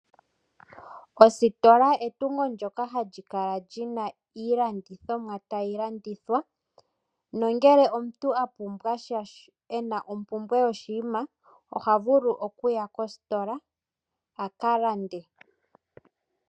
Ositola etungo ndyoka hali kala lina iilandithomwa tayi landithwa. Nongele omuntu a pumbwa sha ena ompumbwe yoshinima oha vulu okuya kositola a ka lande.